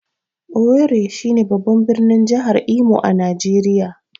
Owerri shine babban birnin jihar Imo a Najeriya.